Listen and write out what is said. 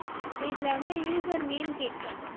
இப்ப இதுல வந்து user name கேக்கும்